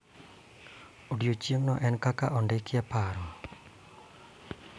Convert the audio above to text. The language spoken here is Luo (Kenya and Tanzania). Odiochingno en kaka ondiki e paro.